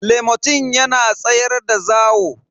lomotil yana tsayar da zawo.